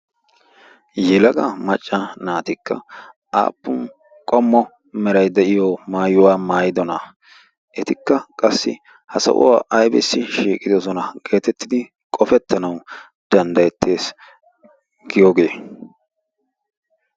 yilaga macca naatikka aappun qommo merai de7iyo maayuwaa maayidonaa? etikka qassi ha sahuwaa aibissi shiiqidosona geetettidi qofettanawu danddayettees giyoogee?